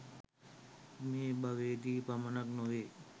මේ භවයේ දී පමණක් නොවේ.